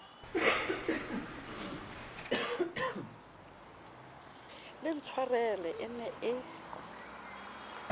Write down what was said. le ntshwarele e ne e